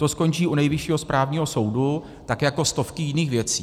To skončí u Nejvyššího správního soudu tak jako stovky jiných věcí.